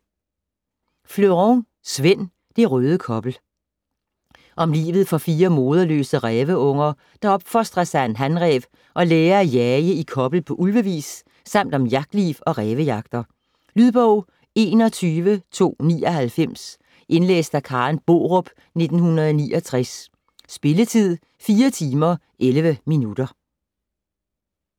Fleuron, Svend: Det røde kobbel Om livet for 4 moderløse ræveunger, der opfostres af en hanræv og lærer at jage i kobbel på ulvevis, samt om jagtliv og rævejagter. Lydbog 21299 Indlæst af Karen Borup, 1969. Spilletid: 4 timer, 11 minutter.